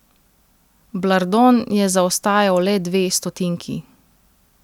Blardone je zaostajal le dve stotinki.